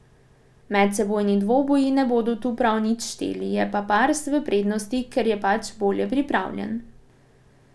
Medsebojni dvoboji ne bodo tu prav nič šteli, je pa Pars v prednosti, ker je pač bolje pripravljen.